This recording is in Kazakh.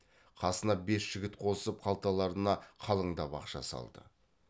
қасына бес жігіт қосып қалталарына қалыңдап ақша салды